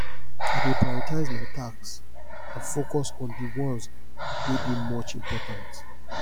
i dey prioritize my tasks and focus on di ones wey dey much important